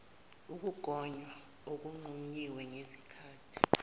ukugonywa okungqunyiwe ngezikhati